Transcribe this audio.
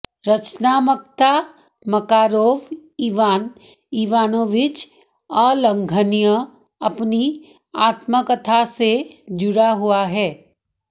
रचनात्मकता Makarov Ivan Ivanovich अलंघनीय अपनी आत्मकथा से जुड़ा हुआ है